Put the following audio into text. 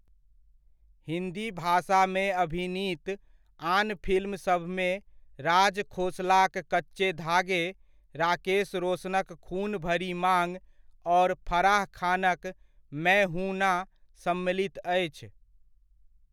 हिन्दी भाषामे अभिनीत आन फिल्म सभमे राज खोसलाक 'कच्चे धागे', राकेश रोशनक 'खून भरी माँग' आओर फराह खानक 'मैं हूं ना' सम्मिलित अछि।